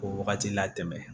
K'o wagati latɛmɛ